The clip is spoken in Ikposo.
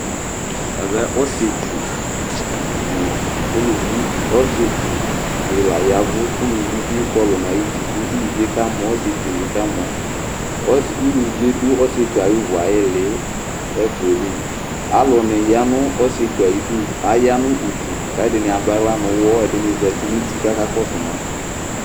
Ɛvɛ ɔsɩetsu nʋ ulivi Ɔsɩetsu di laya ɛvʋ kʋ uluvi bɩ kɔlʋ nʋ ayʋ uti Kʋ uluvi yɛ kamɔ, ɔsɩetsu yɛ bɩ kamɔ Uluvi yɛ dʋ ɔsɩetsu yɛ ayʋ uvu ili ɛfʋa yɛ li Aluni ya nʋ ɔsɩetsu yɛ ayʋ ɩdʋ Aya nʋ udu, kʋ ɛdɩnɩ adʋ aɣla nʋ ʋwɔ Ɛdɩnɩ zǝtɩ nʋ uti kʋ aka kɔsʋ ma